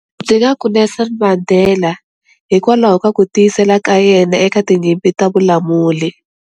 Ndzi nga ku Nelson Mandela hikwalaho ka ku tiyisela ka yena eka tinyimpi ta vulamuli.